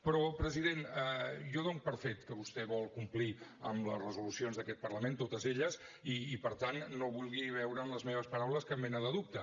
però president jo dono per fet que vostè vol complir amb les resolucions d’aquest parlament totes elles i per tant no vulgui veure en les meves paraules cap mena de dubte